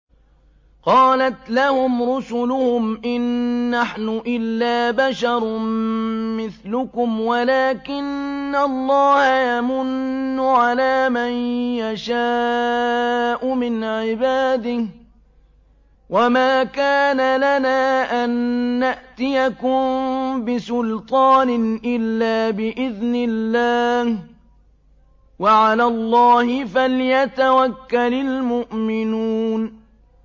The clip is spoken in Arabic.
قَالَتْ لَهُمْ رُسُلُهُمْ إِن نَّحْنُ إِلَّا بَشَرٌ مِّثْلُكُمْ وَلَٰكِنَّ اللَّهَ يَمُنُّ عَلَىٰ مَن يَشَاءُ مِنْ عِبَادِهِ ۖ وَمَا كَانَ لَنَا أَن نَّأْتِيَكُم بِسُلْطَانٍ إِلَّا بِإِذْنِ اللَّهِ ۚ وَعَلَى اللَّهِ فَلْيَتَوَكَّلِ الْمُؤْمِنُونَ